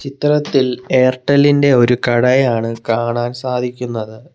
ചിത്രത്തിൽ എയർടെല്ലിന്റെ ഒരു കടയാണ് കാണാൻ സാധിക്കുന്നത്.